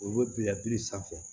O bɛ bila biri sanfɛ